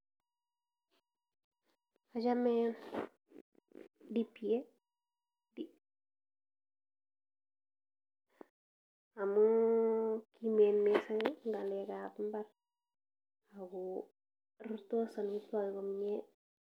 Achame DPA amu kimen mising eng ng'alekab imbar ago rurtos amitwogik komnye.